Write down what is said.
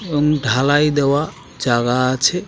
এবং ঢালাই দেওয়া জাগা আছে।